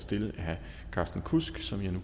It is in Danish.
stillet af herre carsten kudsk som jeg nu